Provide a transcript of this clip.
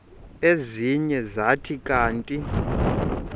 ezinye zathi kanti